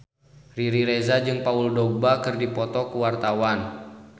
Riri Reza jeung Paul Dogba keur dipoto ku wartawan